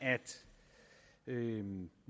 at vi